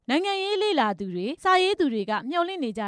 နိုင်ငံရေးလေ့လာစောင့်ကြည့်သူတွေ က မျော်လင့်နေကြ